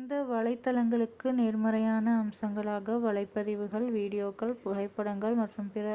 இந்த வலைத்தளங்களுக்கு நேர்மறையான அம்சங்களாக வலைப்பதிவுகள் வீடியோக்கள் புகைப்படங்கள் மற்றும் பிற